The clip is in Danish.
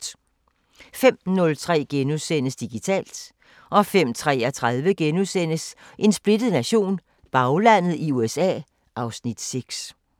05:03: Digitalt * 05:33: En splittet nation – Baglandet i USA (Afs. 6)*